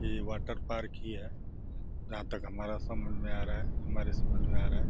ये water park ही है जहाँ तक हमारा समझ में आ रहा है। हमारे समझ में आ रहा है।